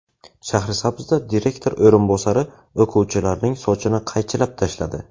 Shahrisabzda direktor o‘rinbosari o‘quvchilarning sochini qaychilab tashladi.